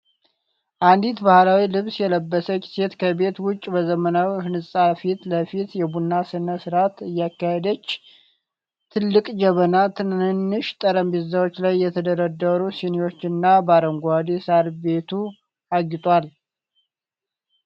አንዲት ባህላዊ ልብስ የለበሰች ሴት ከቤት ውጭ፣ በዘመናዊ ህንጻ ፊት ለፊት የቡና ሥነ ሥርዓት እያካሄደች። ትልቅ ጀበና፣ ትናንሽ ጠረጴዛዎች ላይ የተደረደሩ ሲኒዎች እና በአረንጓዴ ሳር ቤቱ አጊጧል።